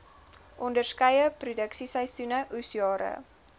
onderskeie produksieseisoene oesjare